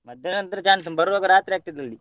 ಮಧ್ಯಾಹ್ನ ನಂತ್ರ ಬರುವಾಗ ರಾತ್ರಿ ಆಗ್ತದೆ ಅಲ್ಲಿ.